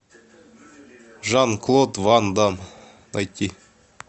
жан клод ван дамм найти